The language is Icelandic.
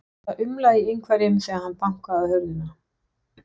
Það umlaði í einhverjum þegar hann bankaði á hurðina.